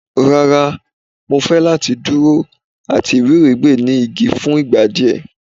Rara, Mo fẹ lati duro ati iwiregbe ni igi fun igba diẹ